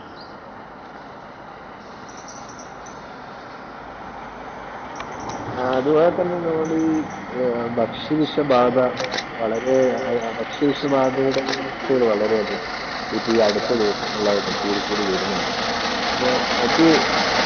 അതുപോലെ തന്നെ തോന്നി ഭക്ഷ്യ വിഷബാധ വളരെ ഭക്ഷ്യ വിഷബാധയുടെ വിപത്തുകൾ വളരെയധികമാണ്. ഇതിപ്പോൾ അടുത്ത ദിവസങ്ങളായിട്ടു കൂടി കൂടി വരുന്നുണ്ട്. അപ്പോൾ അത്